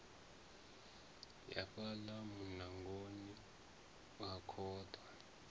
ya fhaḽa muṋangoni u khaḓa